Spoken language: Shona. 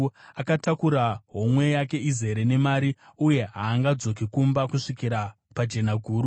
Akatakura homwe yake izere nemari uye haangadzoki kumba kusvikira pajenaguru.”